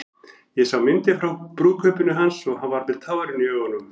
Ég sá myndir frá brúðkaupinu hans og hann var með tárin í augunum.